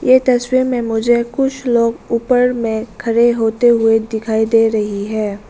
ये तस्वीर में मुझे कुछ लोग ऊपर में खड़े होते हुए दिखाई दे रही है।